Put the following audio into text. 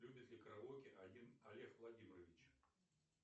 любит ли караоке олег владимирович